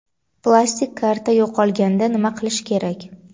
Plastik karta yo‘qolganda nima qilish kerak?.